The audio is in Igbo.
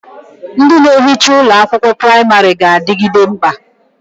Ndị na ehicha ụlọ akwụkwọ pramarị ga-adịgide mkpa